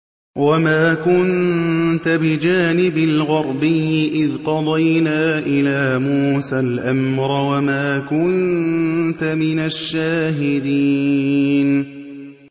وَمَا كُنتَ بِجَانِبِ الْغَرْبِيِّ إِذْ قَضَيْنَا إِلَىٰ مُوسَى الْأَمْرَ وَمَا كُنتَ مِنَ الشَّاهِدِينَ